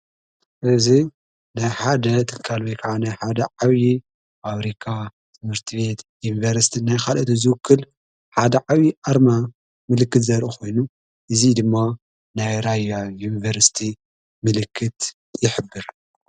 እዝ ናይ ሓደ ተካል ሓደ ዓውዪ ፋብሪካ ትምህርቲ ቤት ዩንበርስቲ ናይኻልት ዙውክል ሓደ ዓውዪ ኣርማ ምልክት ዘርእ ኾይኑ እዙ ድማ ናይራያ ይንቨርስቲ ምልክት ይሕብር።